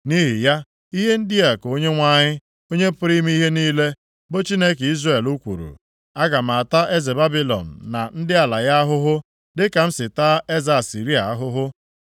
Nʼihi ya, ihe ndị a ka Onyenwe anyị, Onye pụrụ ime ihe niile, bụ Chineke Izrel kwuru, “Aga m ata eze Babilọn, na ndị ala ya ahụhụ, dịka m si taa eze Asịrịa ahụhụ.